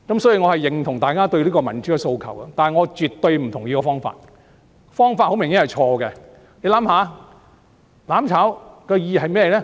所以，我認同大家對民主的訴求，但我絕不同意用這種方法，方法很明顯是錯的。